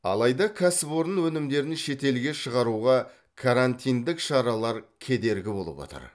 алайда кәсіпорын өнімдерін шетелге шығаруға карантиндік шаралар кедергі болып отыр